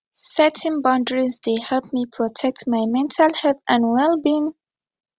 setting boundaries dey help me protect my mental health and wellbeing